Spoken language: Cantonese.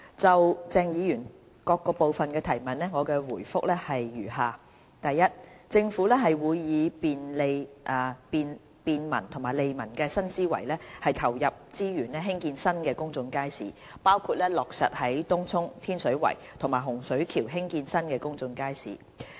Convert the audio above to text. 就鄭議員各部分的質詢，我答覆如下：一政府會以便民利民的新思維投入資源興建新的公眾街市，包括落實在東涌、天水圍和洪水橋興建新公眾街市。